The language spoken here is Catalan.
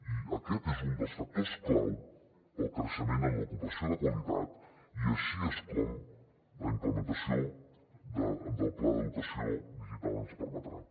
i aquest és un dels factors clau per al creixement en l’ocupació de qualitat i així és com la implementació del pla d’educació digital ens ho permetrà